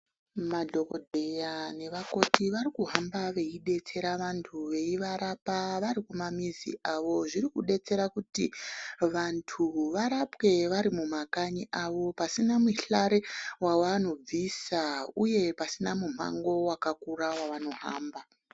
Madhokoteya nevakoti vari kuhamba veidetsera vantu veivarapa varikumamizi avo zviri kudetsera kuti vantu varapwe vari kumakanyi avo pasina muhlare wavanobvisa uye pasina mumango wavanohamba.